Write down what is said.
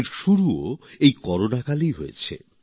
এর শুরুও এই করোনাকালেই হয়েছে